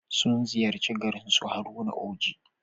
Sun ziyarci garin su Haruna Oji.